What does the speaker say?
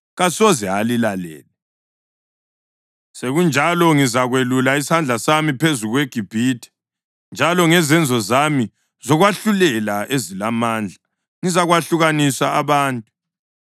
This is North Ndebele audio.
kasoze alilalele. Sekunjalo ngizakwelula isandla sami phezu kweGibhithe, njalo ngezenzo zami zokwahlulela ezilamandla, ngizakwahlukanisa abantu.